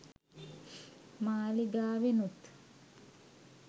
මාලිගාවෙනුත්